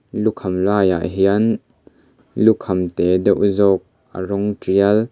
lukham laiah hian lukham te deuh zawk a rawng tial--